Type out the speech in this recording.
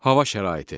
Hava şəraiti.